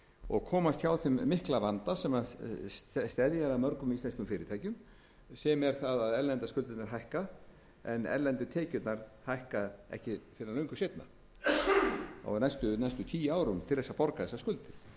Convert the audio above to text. og komast hjá þeim mikla vanda sem steðjar að mörgum íslenskum fyrirtækjum sem er það að erlendu skuldirnar hækka en erlendu tekjurnar hækka ekki fyrr en löngu seinna og á næstu tíu árum til þess að borga þessar skuldir